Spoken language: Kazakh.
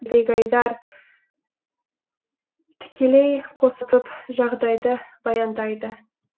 бегайдар тікелей қосылып жағдайды баяндайды